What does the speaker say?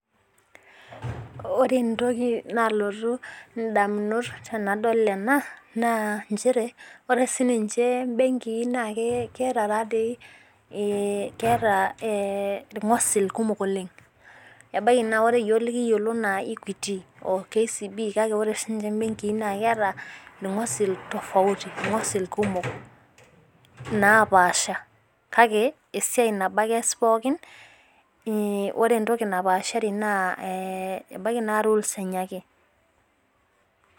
ore entoki nalotu indamunot tenadol ena, ma injere ore sininche ibenki na keeta tadoi ilngosil kumok oleng ebaiki ore iyiok likiyiolo ena equity o KCB kake ore sininche ibenki na keeta, ilkosil tofauti ilngosil kumok napasha, kake esiai nabo eas pooki ore entoki napashari na ee ebaiki na rules enye ake